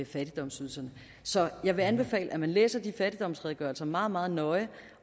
fattigdomsydelserne så jeg vil anbefale at man læser de fattigdomsredegørelser meget meget nøje